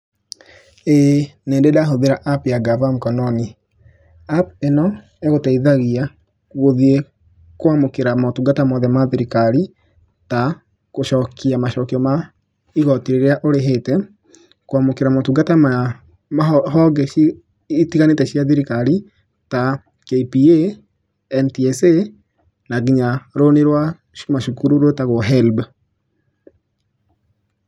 Ĩĩ, nĩ ndĩ ndahũthĩra app ya gava Mkokoni. App ĩno ĩgũteithagia gũthiĩ kwamũkĩra mũtungata mothe mathirikari ta gũcokia macokio ma igoti rĩrĩa ũrĩhĩte, kwamũkĩra mũtungata ta ma honge citiganĩte cia thirikari ta KPA, NTSA na nginya rũni rwa macukuru rwĩtagwo helb.